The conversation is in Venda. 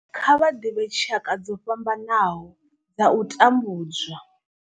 Kha vha ḓivhe tshaka dzo fhambanaho dza u tambudzwa.